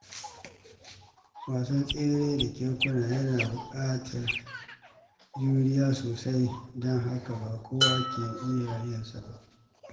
Wasan tsere da kekuna yana buƙatar juriya sosai, don haka ba kowa ke iya yin sa ba.